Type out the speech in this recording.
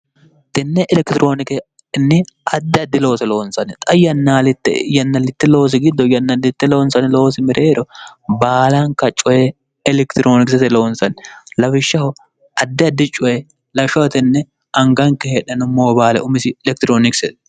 tinne elekitiroonikenni addi addi loose loonsani xa yannaalitte yannallitte loosi giddo yannallitte loonsani loosi mireero baalanka coye elekitiroonikisete loonsanni lawishshaho addi addi coye lashotenne anganke hedhanu moobaale umisi elekitiroonikisete